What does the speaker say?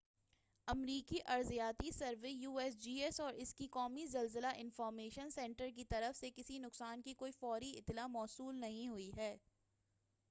امریکی ارضیاتی survey U S G S اور اس کے قومی زلزلہ انفارمیشن سنٹر کی طرف سے کسی نقصان کی کوئی فوری اطلاع موصول نہیں ہوئی ہے۔